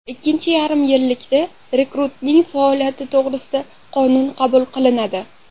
Ikkinchi yarim yillikda rekruting faoliyati to‘g‘risida qonun qabul qilinadi.